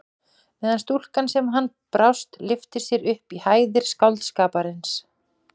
Meðan stúlkan sem hann brást lyftir sér upp í hæðir skáldskaparins.